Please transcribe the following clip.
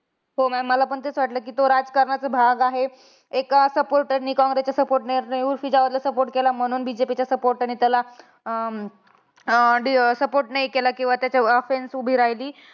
हो ma'am मला हि तेच वाटलं. कि तो राजकारणाचा भाग आहे. एक supporter ने काँग्रेसच्या supporter ने उर्फी जावेदला support केला. म्हणून BJP च्या supporter ने त्याला अं अं support नाही केला. किंवा त्याच्या offense उभी राहिली.